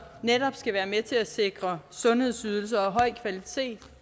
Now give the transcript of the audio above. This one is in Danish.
netop skal være med til at sikre sundhedsydelser og høj kvalitet